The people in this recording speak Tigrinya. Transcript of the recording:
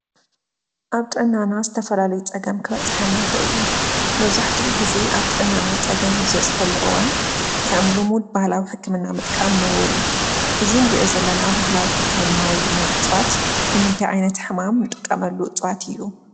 ኣብ ጥዕናና ዝተፈላለዩ ፀገም ክበፅሐና ይክእል እዩ። መብዛሕቲኡ ግዜ ኣብ ንጥዕናና ፀገም ኣብ ዝበፅሐሉ እዋን ከም ልሙድ ባህላዊ ሕክምና ምጥቃም ንቡር እዩ። እዙይ እንርእዮ ዘለና ባህላዊ ሕክምና ወይ ድማ እፅዋት ንምንታይ ዓይነት ሕማም ንጠቀመሉ እፅዋት እዩ?